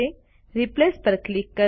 replace પર click કરો